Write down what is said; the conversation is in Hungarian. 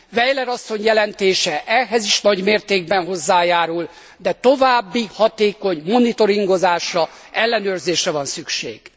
Weiler asszony jelentése ehhez is nagy mértékben hozzájárul, de további hatékony monitoringozásra, ellenőrzésre van szükség.